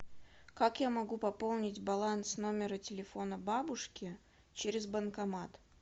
как я могу пополнить баланс номера телефона бабушки через банкомат